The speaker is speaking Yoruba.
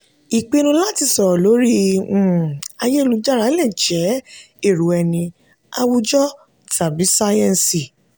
ìpinnu láti sọ̀rọ̀ lórí um ayélujára lè jẹ́ èrò ẹni awùjọ tàbí sáyẹ́ǹsì.